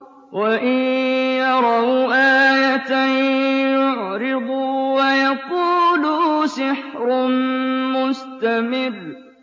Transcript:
وَإِن يَرَوْا آيَةً يُعْرِضُوا وَيَقُولُوا سِحْرٌ مُّسْتَمِرٌّ